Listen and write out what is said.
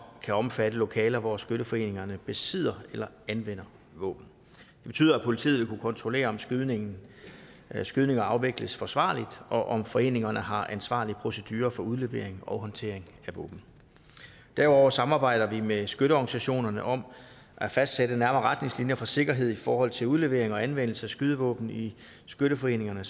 at omfatte lokaler hvor skytteforeningerne besidder eller anvender våben det betyder at politiet vil kunne kontrollere om skydninger skydninger afvikles forsvarligt og om foreningerne har ansvarlige procedurer for udlevering og håndtering af våben derudover samarbejder vi med skytteorganisationerne om at fastsætte nærmere retningslinjer for sikkerhed i forhold til udlevering og anvendelse af skydevåben i skytteforeningerne